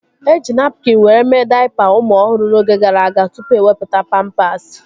Eji napkin were mee daipa ụmụ ọhụrụ n'oge gara aga tụpụ ewepụta pampasi